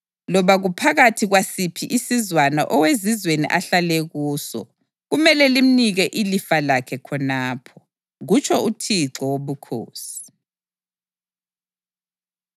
Loba kuphakathi kwasiphi isizwana owezizweni ahlale kuso, kumele limnike ilifa lakhe khonapho,” kutsho uThixo Wobukhosi.